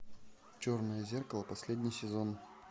черное зеркало последний сезон